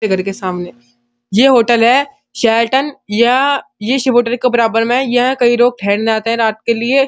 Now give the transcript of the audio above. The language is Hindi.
ये घर के सामने ये होटल है शेरटन या ये शिव होटर के बराबर में है। यहाँ कई रोग ठहरने आते हैं रात के लिए।